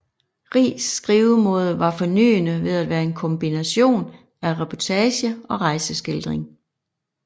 Riis skrivemåde var fornyende ved at være en kombination af reportage og rejseskildring